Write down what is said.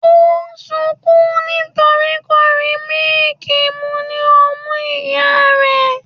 o n sunkún nítorí kò rí mílìkì mu ní ọmú ìyá rẹ̀.